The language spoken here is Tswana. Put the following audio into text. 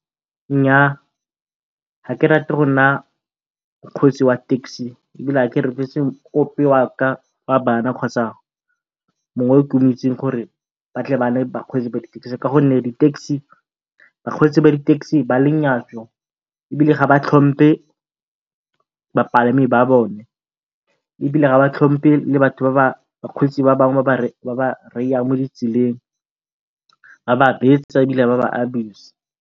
Nnyaa, ga ke rate go nna mokgwetsi wa taxi ebile ga ke rotloetse ope wa ka wa bana kgotsa mongwe o ke mo itseng gore ba tle ba nne bakgweetsi ba di-taxi. Ka gonne di taxi bakgweetsi ba di-taxi ba lenyatso ebile ga ba tlhompe bapalami ba bone ebile ga ba tlhompe le batho ba ba bakgweetsi ba bangwe mo ditseleng ba ba betsa ebile ba ba abuse-a.